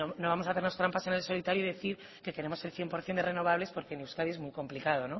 no vamos a hacernos trampas en el solitario y decir que queremos el cien por ciento de renovables porque en euskadi es muy complicado